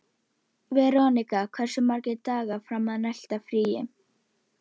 Gaukur tók þátt í öllu með Kókó.